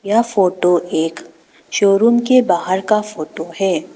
यह फोटो एक शोरूम के बाहर का फोटो है।